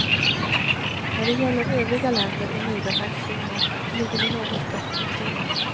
När det gäller övriga länder i medelhavszonen ligger vi något bättre till.